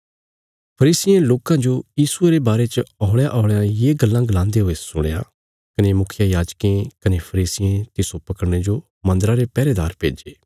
फरीसियें लोकां जो यीशुये रे बारे च हौल़यांहौल़यां ये गल्लां गलान्दे हुए सुणया कने मुखियायाजकें कने फरीसियें तिस्सो पकड़ने जो मन्दरा रे पैहरेदार भेज्जे